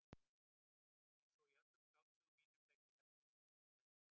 Einsog í öllum skáldsögum mínum sæki ég efnivið minn í raunveruleikann.